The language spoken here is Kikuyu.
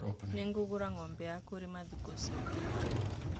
Nĩgũgũra ng'ombe ya kũrĩma thĩkũ ciũkĩte.